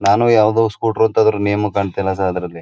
ನಾನು ಯಾವುದೊ ಸ್ಕೂಟರ್ ನಿಯಮ ಕಾಂತೇಲ್ಲ ಸಹ ಅದ್ರಲ್ಲಿ--